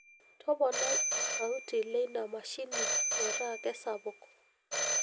toponai osauti leina mashini metaa kesapuk